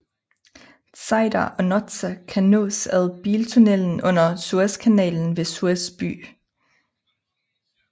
Tzeidar og Notsa kan nås ad biltunnelen under Suezkanalen ved Suez by